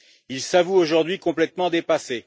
Il s'avoue aujourd'hui complètement dépassé.